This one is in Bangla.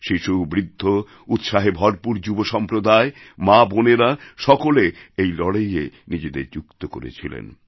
শিশু বৃদ্ধ উৎসাহে ভরপুর যুব সম্প্রদায় মা বোনেরা সকলে এই লড়াইয়ে নিজেদের যুক্ত করেছিলেন